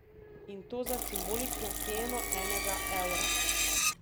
In to za simbolično ceno enega evra.